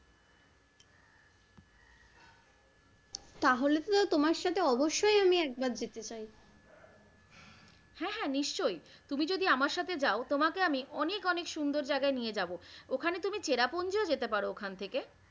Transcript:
তাহলে তো তোমার সাথে অবশ্যই আমি একবার যেতে চাই। হ্যাঁ হ্যাঁ নিশ্চয়ই তুমি যদি আমার সাথে যাও তোমাকে আমি অনেক অনেক সুন্দর জায়গায় নিয়ে যাবো ওখানে তুমি চেরাপুঞ্জিও যেতে পারো ওখান থেকে।